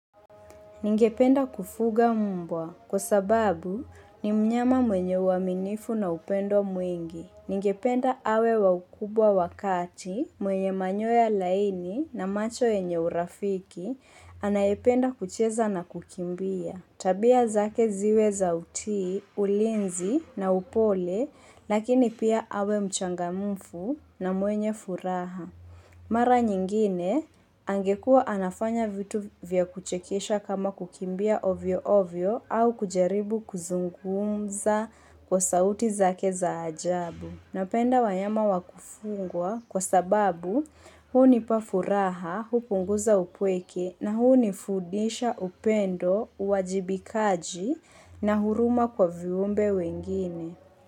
Ningependa kufuga mbwa kwa sababu ni mnyama mwenye uaminifu na upendo mwingi. Ningependa awe wa ukubwa wa kati mwenye manyoya laini na macho yenye urafiki anayependa kucheza na kukimbia. Tabia zake ziwe za utii, ulinzi na upole lakini pia awe mchangamfu na mwenye furaha. Mara nyingine, angekua anafanya vitu vya kuchekesha kama kukimbia ovyo ovyo au kujaribu kuzungumza kwa sauti zake za ajabu. Napenda wanyama wa kufunga kwa sababu hunipa furaha, hupunguza upweke na hunifudisha upendo, uajibikaji na huruma kwa viumbe wengine.